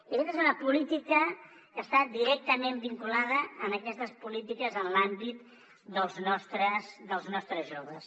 i aquesta és una política que està directament vinculada a aquestes polítiques en l’àmbit dels nostres joves